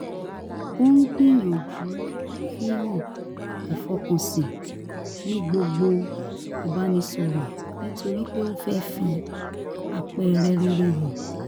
ó ń gbìyànjú fíhàn ìfọkànsìn ní gbogbo ìbánisọ̀rọ̀ nítorí pé ó fẹ́ fi àpẹẹrẹ rere hàn